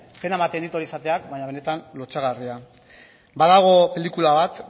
pena ematen dit hori esateak baina benetan lotsagarria badago pelikula bat